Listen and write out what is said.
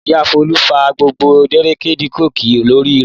Ìyá Folú fá gbogbo dẹ́rẹ́dilọkì orí rẹ̀.